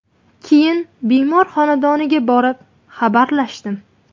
– Keyin bemor xonadoniga borib, xabarlashdim.